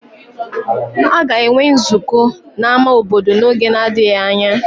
A ga-enwe nzukọ na ama obodo n'oge na-adịghị anya.